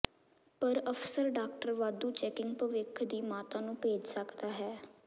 ਪਰ ਅਕਸਰ ਡਾਕਟਰ ਵਾਧੂ ਚੈਕਿੰਗ ਭਵਿੱਖ ਦੀ ਮਾਤਾ ਨੂੰ ਭੇਜ ਸਕਦਾ ਹੈ